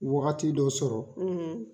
Wagati dɔ sɔrɔ,